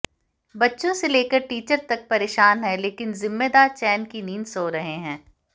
बच्चों से लेकर टीचर तक परेशान हैं लेकिन जिम्मेदार चैन की नींद सो रहे हैं